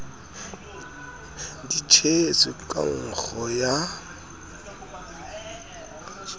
di tshetswe ka nkgo ya